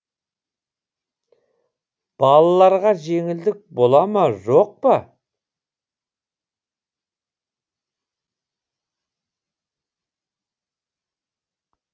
балаларға жеңілдік бола ма жоқ па